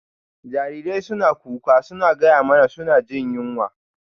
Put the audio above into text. Jarirai suna kuka suna gaya mana suna jin yunwa.